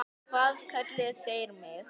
Hvað kölluðu þeir mig?